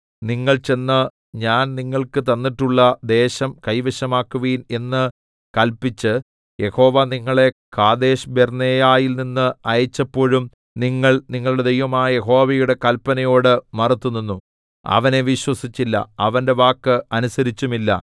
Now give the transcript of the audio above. നിങ്ങൾ ചെന്ന് ഞാൻ നിങ്ങൾക്ക് തന്നിട്ടുള്ള ദേശം കൈവശമാക്കുവിൻ എന്ന് കല്പിച്ച് യഹോവ നിങ്ങളെ കാദേശ്ബർന്നേയയിൽനിന്ന് അയച്ചപ്പോഴും നിങ്ങൾ നിങ്ങളുടെ ദൈവമായ യഹോവയുടെ കല്പനയോട് മറുത്തുനിന്നു അവനെ വിശ്വസിച്ചില്ല അവന്റെ വാക്ക് അനുസരിച്ചതുമില്ല